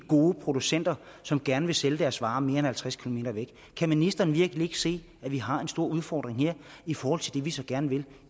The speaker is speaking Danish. gode producenter som gerne vil sælge deres varer mere end halvtreds km væk kan ministeren virkelig ikke se at vi har en stor udfordring her i forhold til det vi så gerne vil